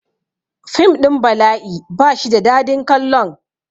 Fim ɗin bala'i ba shi da dadin kallon